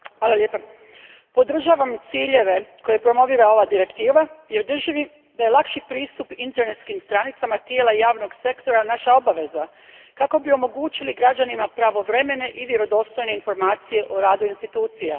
Gospođo potpredsjednice, podržavam ciljeve koje promovira ova Direktiva jer držim da je lakši pristup internetskim stranicama tijela javnog sektora naša obaveza kako bi omogućili građanima pravovremene i vjerodostojne informacije o radu institucija.